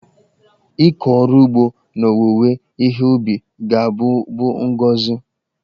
Ịkọ ọrụ ugbo na owuwe ihe ubi ga-abụ bụ ngọzị.